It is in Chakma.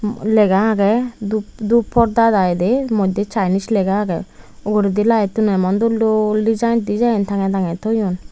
lega age dhup pordar iy de moddhe chinese lega age uguredi light un o emon dol dol design design tangey tangey thoyun.